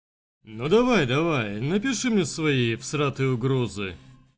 ну давай давай напиши мне свои всратые угрозы